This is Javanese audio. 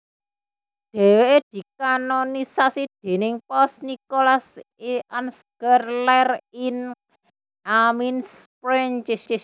Dhèwèké dikanonisasi déning Paus Nikolas I Ansgar lair ing Amiens Prancis